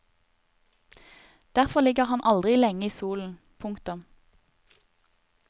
Derfor ligger han aldri lenge i solen. punktum